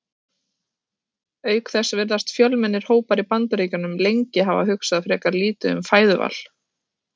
Auk þess virðast fjölmennir hópar í Bandaríkjunum lengi hafa hugsað frekar lítið um fæðuval.